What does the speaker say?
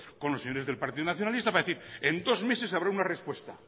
con los señores del partido nacionalista para decir en dos meses habrá una respuesta